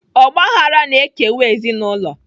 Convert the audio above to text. Ọgbaghara na-ekewa ezinụlọ.